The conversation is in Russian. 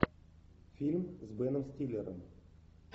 фильм с беном стиллером